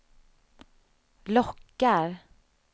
lockar